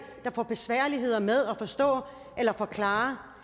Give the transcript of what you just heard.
der får besvær med at forstå eller forklare